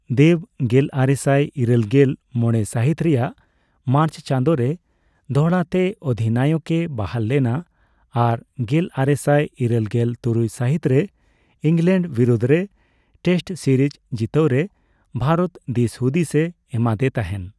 ᱫᱮᱵᱽ ᱜᱮᱞᱟᱨᱮᱥᱟᱭ ᱤᱨᱟᱹᱞᱜᱮᱞ ᱢᱚᱲᱮ ᱥᱟᱹᱦᱤᱛ ᱨᱮᱭᱟᱜ ᱢᱟᱨᱪ ᱪᱟᱸᱫᱳ ᱨᱮ ᱫᱚᱦᱲᱟ ᱛᱮ ᱚᱫᱷᱤᱱᱟᱭᱚᱠᱼᱮ ᱵᱟᱦᱟᱞ ᱞᱮᱱᱟ ᱟᱨ ᱜᱮᱞᱟᱨᱮᱥᱟᱭ ᱤᱨᱟᱹᱞᱜᱮᱞ ᱛᱩᱨᱩᱭ ᱥᱟᱹᱦᱤᱛ ᱨᱮ ᱤᱝᱞᱮᱱᱰ ᱵᱤᱨᱩᱫᱷ ᱨᱮ ᱴᱮᱹᱥᱴ ᱥᱤᱨᱤᱡᱽ ᱡᱤᱛᱟᱹᱣ ᱨᱮ ᱵᱷᱟᱨᱚᱛ ᱫᱤᱥᱦᱩᱫᱤᱥᱮ ᱮᱢᱟᱫᱮ ᱛᱟᱦᱮᱱ ᱾